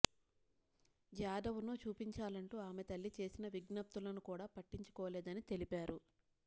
జాదవ్ను చూపించాలంటూ ఆమె తల్లి చేసిన విజ్ఞప్తులను కూడా పట్టించుకోలేదని తెలిపారు